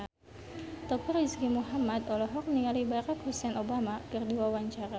Teuku Rizky Muhammad olohok ningali Barack Hussein Obama keur diwawancara